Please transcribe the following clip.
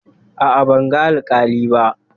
A'a, ban ga alƙali ba.